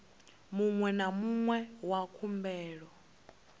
muṅwe na muṅwe wa khumbelo